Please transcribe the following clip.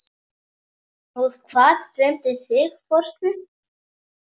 Og hvað dreymdi þig fóstri?